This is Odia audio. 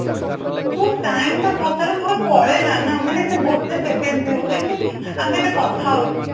ଯୋଉ time ଟା ସତରେ ଥରେ ପଳେଇଲା ନା ମାନେ ସେ ଗୋଟେ second ବି ହଉ ମାନେ ଆମେ ଏବେ କଥା ହଉଛୁ